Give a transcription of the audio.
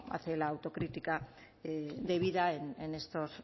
hace la autocrítica debida en estos